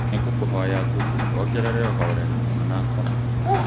nĩ ngũkũhoya google wongerere ũhoreri mwana akome